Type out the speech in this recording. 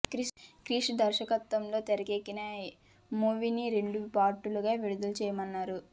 క్రిష్ దర్శకత్వంలో తెరకెక్కిన ఈ మూవీని రెండు పార్టులుగా విడుదల చేయనున్నారు